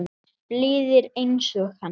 Blíðir einsog hann.